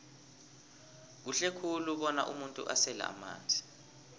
kuhle khulu bona umuntu asele amanzi